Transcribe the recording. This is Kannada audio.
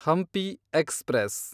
ಹಂಪಿ ಎಕ್ಸ್‌ಪ್ರೆಸ್